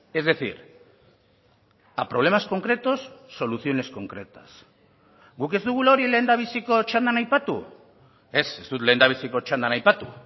es decir a problemas concretos soluciones concretas guk ez dugula hori lehendabiziko txandan aipatu ez ez dut lehendabiziko txandan aipatu